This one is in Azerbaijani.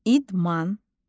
İdman.